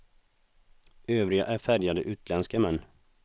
Övriga är färgade, utländska män.